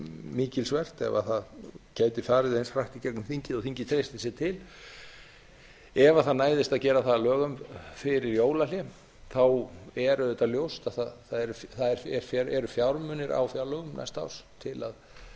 mikilsvert ef það gæti farið eins hratt í gegnum þingið og þingið treystir sér til ef það næðist að gera það að lögum fyrir jólahlé þá er auðvitað ljóst að það eru fjármunir á fjárlögum næsta árs til